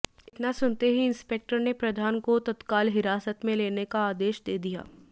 इतना सुनते ही इंस्पेक्टर ने प्रधान को तत्काल हिरासत में लेने का आदेश दे दिया